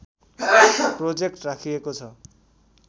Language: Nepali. प्रोजेक्ट राखिएको छ